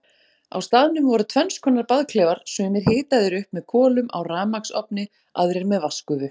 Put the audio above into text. Á staðnum voru tvennskonar baðklefar, sumir hitaðir upp með kolum á rafmagnsofni, aðrir með vatnsgufu.